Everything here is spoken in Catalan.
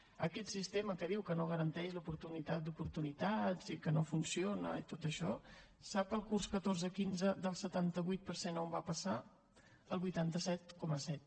aquest sistema que diu que no garanteix la igualtat d’oportunitats i que no funciona i tot això sap el curs catorze quinze del setanta vuit per cent a on va passar al vuitanta set coma set